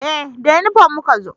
Eh da inifom muka zo